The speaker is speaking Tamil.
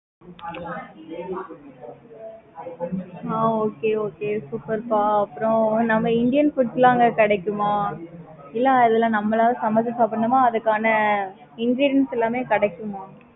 ஆஹ் okay okay ஆஹ் சூப்பேர்ப்ப அப்பறம் நம்ம indian food லாம் அங்க கிடைக்குமா? இல்ல இல்ல நம்மள சமைச்சி சாப்பிடணுமா? அதுக்கான ingredients எல்லாமே கிடைக்குமா?